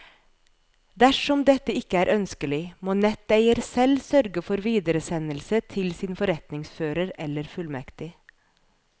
Dersom dette ikke er ønskelig, må netteier selv sørge for videresendelse til sin forretningsfører eller fullmektig.